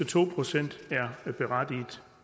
to procent er berettiget